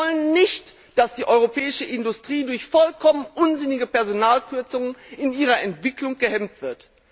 Wir wollen nicht, dass die europäische Industrie durch vollkommen unsinnige Personalkürzungen in ihrer Entwicklung gehemmt wird.